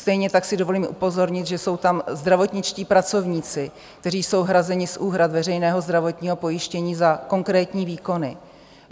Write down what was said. Stejně tak si dovolím upozornit, že jsou tam zdravotničtí pracovníci, kteří jsou hrazeni z úhrad veřejného zdravotního pojištění za konkrétní výkony.